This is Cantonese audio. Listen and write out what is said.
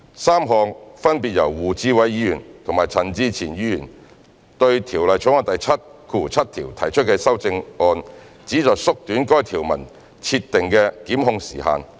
三項分別由胡志偉議員和陳志全議員對《條例草案》第77條提出的修正案旨在縮短該條文設定的檢控時限。